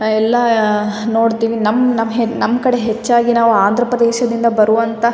ಎಲ್ಲ ನೋಡ್ತಿವಿ ನಮ್ಗ್ ನಮ್ ನಮ್ ಕಡೆ ಹೆಚ್ಚಾಗಿ ನಾವ ಅಂದ್ರ ಪ್ರದೇಶದಿಂದ ಬರುವಂಥ-